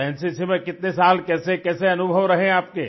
तो एनसीसी में कितने साल कैसे कैसे अनुभवरहे आपके